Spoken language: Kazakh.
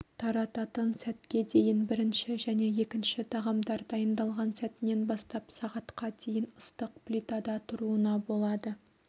тарататын сәтке дейін бірінші және екінші тағамдар дайындалған сәтінен бастап сағатқа дейін ыстық плитада тұруына болады